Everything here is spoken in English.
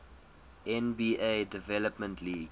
nba development league